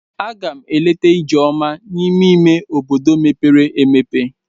A gam eleta Ijeoma n'ime ime obodo mepere emepe.